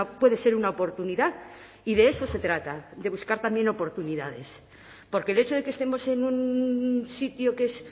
puede ser una oportunidad y de eso se trata de buscar también oportunidades porque el hecho de que estemos en un sitio que es